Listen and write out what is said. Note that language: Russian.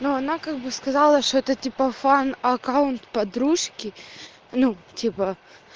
но она как бы сказала что это типа фан аккаунт подружки ну типа